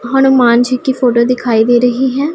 हनुमान जी की फोटो दिखाई दे रही है।